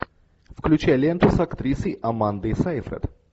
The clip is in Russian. включай ленту с актрисой амандой сейфрид